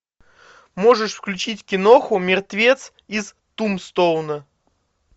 можешь включить киноху мертвец из тумстоуна